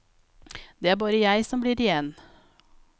Det er bare jeg som blir igjen.